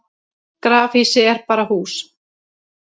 grafhýsi er bara hús